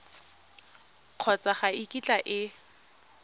kgotsa ga e kitla e